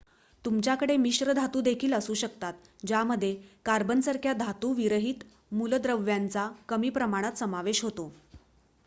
तुमच्याकडे मिश्र धातु देखील असू शकतात ज्यामध्ये कार्बन सारख्या धातू विरहित मूलद्रव्यांचा कमी प्रमाणात समावेश असतो